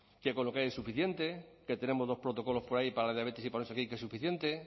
que con lo que hay es suficiente que tenemos dos protocolos por ahí para la diabetes y que es suficiente